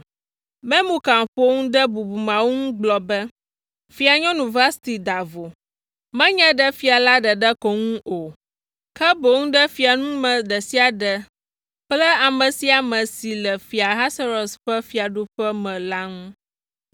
Memukan ƒo nu ɖe bubumeawo nu gblɔ be, “Fianyɔnu Vasti da vo, menye ɖe fia la ɖeɖe ko ŋu o, ke boŋ ɖe fiaŋume ɖe sia ɖe kple ame sia ame si le Fia Ahasuerus ƒe fiaɖuƒea me la ŋu.